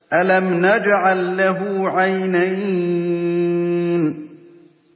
أَلَمْ نَجْعَل لَّهُ عَيْنَيْنِ